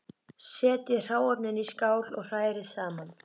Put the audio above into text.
Setjið öll hráefnin í skál og hrærið saman.